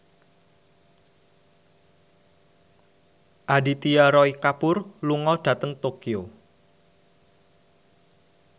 Aditya Roy Kapoor lunga dhateng Tokyo